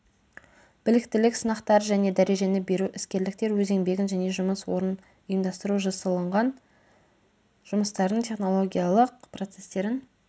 біліктілік сынақтар және дәрежені беру іскерліктер өз еңбегін және жұмыс орнын ұйымдастыру жасылынған жұмыстардың технологиялық процестерін